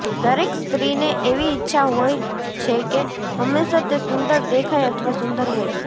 દરેક સ્ત્રીને એવી ઇચ્છા હોય છે કે હંમેશાં તે સુંદર દેખાય અથવા સુંદર હોય